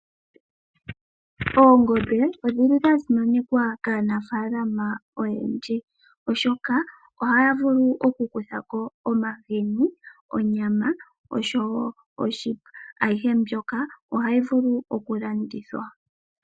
Oongombe odha simanekwa kaanafalama oyendji oshoka ohaya vulu okukutha ko omahini, onyama noshowo oshipa, ayihe mbika ohayi vulu okulandithwa.